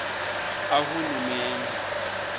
ahulumende